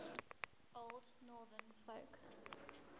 old northern folk